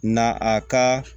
Na a ka